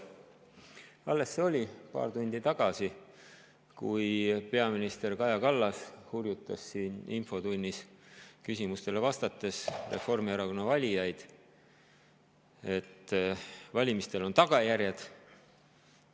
Alles paar tundi tagasi hurjutas peaminister Kaja Kallas siin infotunnis küsimustele vastates Reformierakonna valijaid, et valimistel on tagajärjed.